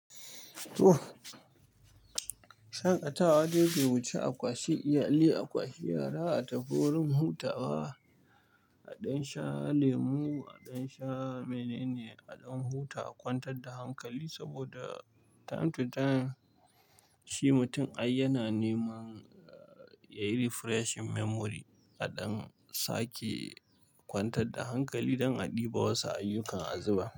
Shaƙatawa dai bai wuce akwashi iyali, akwashi yara a tafi wajen hutawa, A ɗan sha lemu, a ɗan sha mene ne, a ɗan huta a kwantar da hankali saboda time to time shi mutum ai yana neman yayi refreshing memory a ɗan sake. Kwantar da hankali don a ɗiba wasu ayyukan azuba.